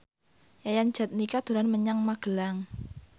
Yayan Jatnika dolan menyang Magelang